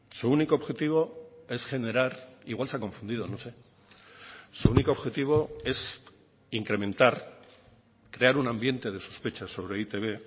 su único objetivo es generar igual se ha confundido no sé su único objetivo es incrementar crear un ambiente de sospecha sobre e i te be